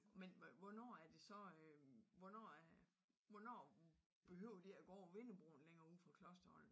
Men hvornår er det så øh hvornår er hvornår behøver vi ikke at gå over vindebroen længere uden for klosteret?